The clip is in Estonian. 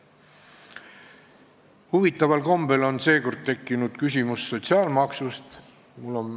Huvitaval kombel on seekord tekkinud küsimus sotsiaalmaksust.